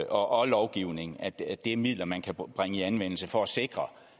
og lovgivning altså det er midler man kan bringe i anvendelse for at sikre